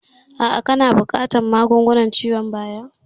A'a kana buƙatan ƙarin magungunan ciwon bayan